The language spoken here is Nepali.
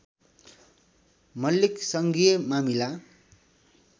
मल्लिक सङ्घीय मामिला